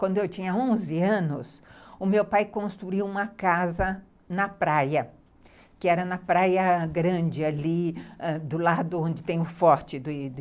Quando eu tinha onze anos, o meu pai construiu uma casa na praia, que era na praia grande ali, ãh, do lado onde tem o forte de